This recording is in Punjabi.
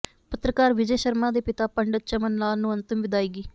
ਪੱਤਰਕਾਰ ਵਿਜੇ ਸ਼ਰਮਾ ਦੇ ਪਿਤਾ ਪੰਡਤ ਚਮਨ ਲਾਲ ਨੂੰ ਅੰਤਿਮ ਵਿਦਾਇਗੀ